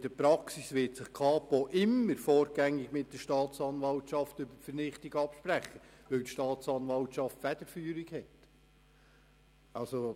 In der Praxis wird sich die Kapo immer vorgängig mit der Staatsanwaltschaft über eine Vernichtung absprechen, weil die Federführung bei der Staatsanwaltschaft liegt.